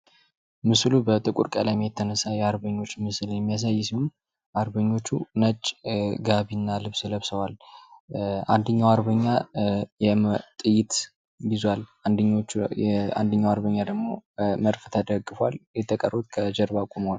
ምስሉ በጥቁር ቀለም የተነሳ የአርበኞች ምስል ሲሆን አርበኞቹ ነጭ ጋቢ እና ልብስ ለበሰዋል። አንደኛው አርበኛ ጥይት ይዟል። አንደኛው አርበኛ ደግሞ መድፍ ተደግፏል። የተቀሩት ከጀርባ ቁመዋል።